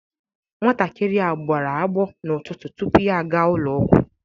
Nwatakịrị a gbara agbọ n'ụtụtụ tupu ya aga ụlọ ọgwụ